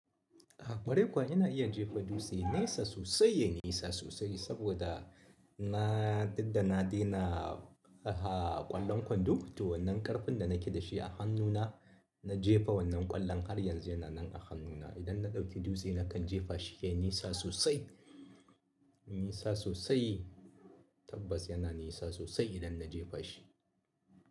Ah, ƙwarai kuwa ina iya jefa dutse, nesa sosai ne, yai nisa sosai saboda na duk da na daina, ah, ƙwallon kwando. To wannan ƙarfin da nike da shi a hannuna na jefa wannan ƙwallon har yanzu yana nan a hannuna. Idan na ɗauki dutse nakan jefa shi yai nisa sosai, yai nisa sosai tabbas yana nisa sosai idan na jefa shi.